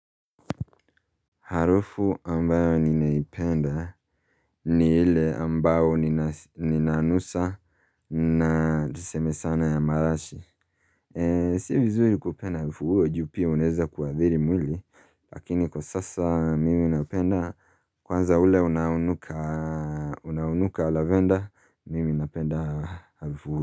Harufu ambayo ninaipenda ni ile ambayo ninanusa na tuseme sana ya marashi. Si vizuri kupenda harufu ule juu pia unaeza kuadhiri mwili. Lakini kwa sasa mimi napenda kwanza ule unaonuka lavenda mimi napenda harufu huo.